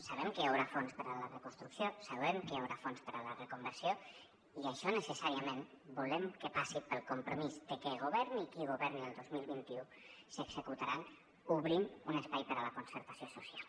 sabem que hi haurà fons per a la reconstrucció sabem que hi haurà fons per a la reconversió i això necessàriament volem que passi pel compromís de que governi qui governi el dos mil vint u s’executaran obrint un espai per a la concertació social